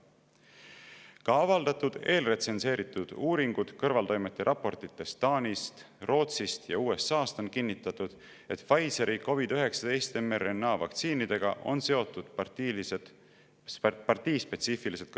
Ka avaldatud eelretsenseeritud uuringud kõrvaltoimete raportites Taanist, Rootsist ja USA-st on kinnitanud, et Pfizeri COVID‑19 mRNA-vaktsiinidega kõrvaltoimed on partiispetsiifilised.